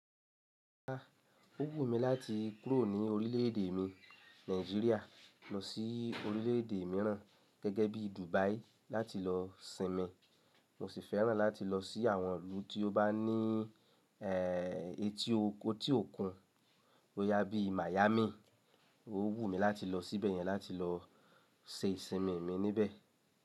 Ó wù mí láti kúrò ní orílẹ̀ èdè mi Nàìjíríà lọ sí orílẹ̀ èdè míràn gẹ́gẹ́ bí Dubai láti lọ sinmi. Mo sì fẹ́ràn láti lọ sí àwọn ìlú tí ó bá ní ẹ́ee ẹti oko, etí òkun, boyá bií Miami. Ó wùn mí láti lọ síbẹ̀ yẹn láti lọ se ìsinmi mi níbẹ̀.